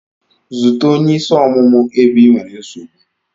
Zute onye isi ọmụmụ ebe ị nwere nsogbu!